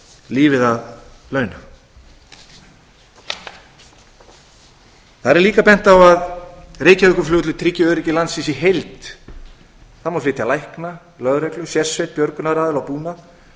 lífið að launa þar er líka bent á að reykjavíkurflugvöllur tryggi öryggi landsins í heild það má flytja lækna lögreglu sérsveit björgunaraðila og búnað